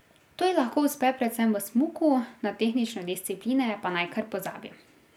To ji lahko uspe predvsem v smuku, na tehnične discipline pa naj kar pozabi.